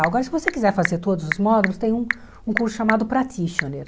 Agora, se você quiser fazer todos os módulos, tem um um curso chamado practitioner.